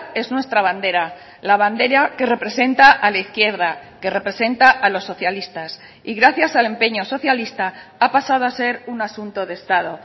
es nuestra bandera la bandera que representa a la izquierda que representa a los socialistas y gracias al empeño socialista ha pasado a ser un asunto de estado